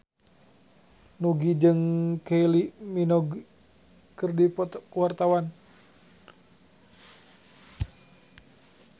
Nugie jeung Kylie Minogue keur dipoto ku wartawan